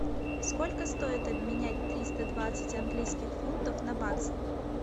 сколько стоит обменять триста двадцать английских фунтов на баксы